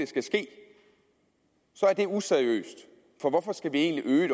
skal ske så er det useriøst for hvorfor skal vi øge